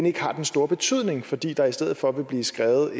ikke har den store betydning fordi der i stedet for vil blive skrevet